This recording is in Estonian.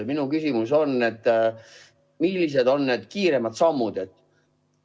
Minu küsimus on: millised on need kiiremad sammud?